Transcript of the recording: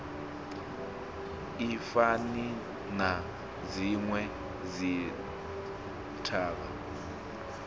i fani na dzinwe dzithavha